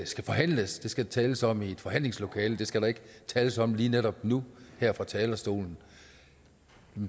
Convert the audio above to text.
skal forhandles det skal der tales om i et forhandlingslokale det skal der ikke tales om lige netop nu her fra talerstolen